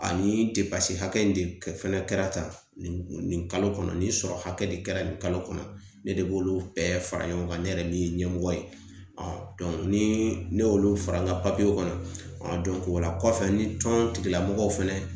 Ani depase hakɛ in de fɛnɛ kɛra tan nin nin kalo kɔnɔ nin sɔrɔ hakɛ de kɛra nin kalo kɔnɔ ne de b'olu bɛɛ fara ɲɔgɔn kan ne yɛrɛ min ye ɲɛmɔgɔ ye ɔn dɔn ni ne y'olu fara n ka papiyew kɔnɔ ɔn o la kɔfɛ ni tɔn tigilamɔgɔw fɛnɛ